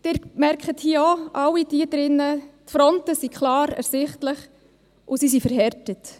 Sie alle hier drin merken, dass die Fronten klar ersichtlich sind, und sie sind verhärtet.